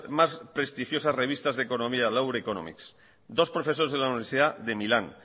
más prestigiosas revistas de economía economics dos profesores en la universidad de milán